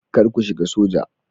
Kar ku shiga soja.